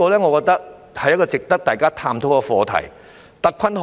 我覺得這是值得大家探討的課題。